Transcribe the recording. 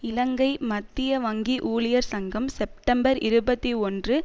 இலங்கை மத்திய வங்கி ஊழியர் சங்கம் செப்டெம்பர் இருபத்தி ஒன்று